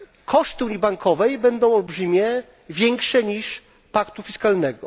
Koszty unii bankowej będą olbrzymie, większe niż paktu fiskalnego.